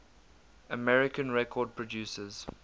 american record producers